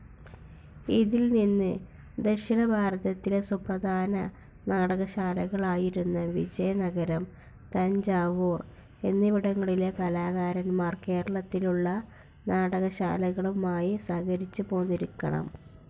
ഇതിൽ നിന്ന് ദക്ഷിണഭാരതത്തിലെ സുപ്രധാന നാടകശാലകളായിരുന്ന വിജയനഗരം, തഞ്ചാവൂർ എന്നിവിടങ്ങളിലെ കലാകാരന്മാർ കേരളത്തിലുള്ള നാടകശാലകളുമായി സഹകരിച്ചുപോന്നിരിക്കണം.